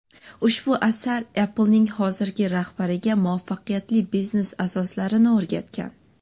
Ushbu asar Apple’ning hozirgi rahbariga muvaffaqiyatli biznes asoslarini o‘rgatgan.